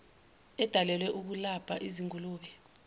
edalelwe ukukalabha izingulube